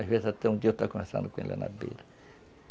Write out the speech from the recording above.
Às vezes até um dia eu estava conversando com ele lá na beira.